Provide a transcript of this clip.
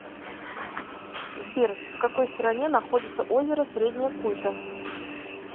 сбер в какой стране находится озеро среднее куйто